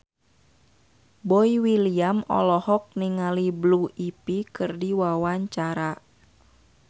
Boy William olohok ningali Blue Ivy keur diwawancara